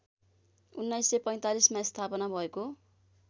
१९४५ मा स्थापना भएको